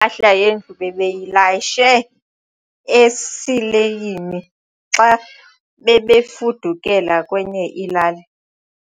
Impahla yendlu bebeyilayishe esileyini xa bebefudukela kwenye ilali.